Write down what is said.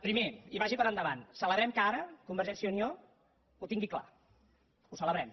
primer i vagi per endavant celebrem que ara convergència i unió ho tingui clar ho celebrem